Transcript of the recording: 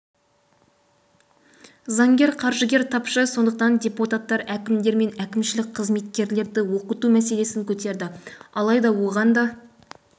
заңгер қаржыгер тапшы сондықтан депутаттар әкімдер мен әкімшілік қызметкерлерді оқыту мәселесін көтерді алайда оған да